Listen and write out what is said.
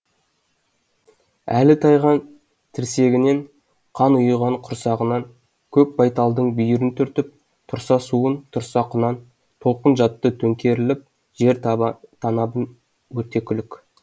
әлі тайған тірсегінен қан ұйыған құрсағынан көк байталдың бүйірін түртіп тұрса суын тұрса құнан толқын жатты төңкеріліп жер танабын өрте күлік